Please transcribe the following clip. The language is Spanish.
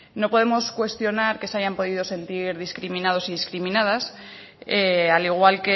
no podemos cuestionar que se hayan podido sentir discriminados discriminadas al igual